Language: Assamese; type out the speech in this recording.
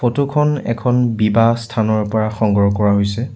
ফটো খন এখন বিবাহ স্থানৰ পৰা সংগ্ৰহ কৰা হৈছে।